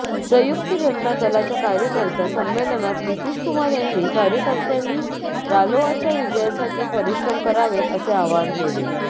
संयुक्त जनता दलाच्या कार्यकर्ता संमेलनात नितीशकुमार यांनी कार्यकर्त्यांनी रालोआच्या विजयासाठी परिश्रम करावेत असे आवाहन केले